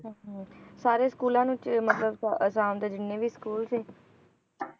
ਹਮ ਸਾਰੇ ਸਕੂਲਾਂ ਵਿੱਚ ਮਤਲਬ ਆਸਾ~ ਆਸਾਮ ਦੇ ਜਿੰਨੇ ਵੀ school ਸੀ